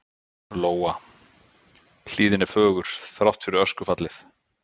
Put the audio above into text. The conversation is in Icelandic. Lóa: Hlíðin er fögur, þrátt fyrir öskufallið?